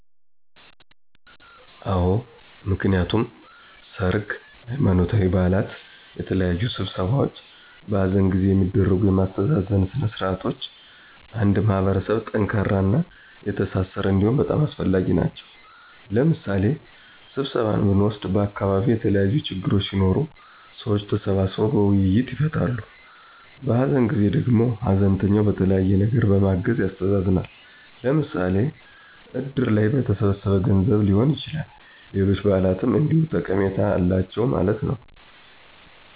አወ፦ ምክንያቱም ሰርግ፣ ሃይማኖታዊ በዓላት፣ የተለያዩ ስብሰባዎች፣ በሃዘን ጊዜ የሚደረጉ የማስተዛዘን ስነ ስርዓቶች አንድ ማህበረሰብ ጠንካራና የተሣሠረ እንዲሆን በጣም አስፈላጊ ናቸዉ። ለምሣሌ ስብሰባን ብንወስድ በዓካባቢዉ የተለያዪ ችግሮች ሢኖሩ ሰዎች ተሰባስበዉ በዉይይት ይፈታሉ። በሃዘን ጊዜ ደግሞ ሃዘንተኛውን በተለያየ ነገር በማገዝ ያስተዛዝናል። ለምሣሌ እድር ላይ በተሠበሠበ ገንዘብ ሊሆን ይችላል፣ ሌሎች በዓላትም እንዲሁ ጠቀሜታ አላቸው ማለት ነዉ።